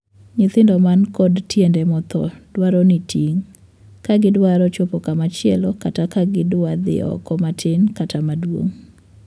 Nyithindo man kod tiende mothoo dwaro ni ting' ka gidwaro chopo kama chielo kata ka gidwa dhii oko matin kata maduong'.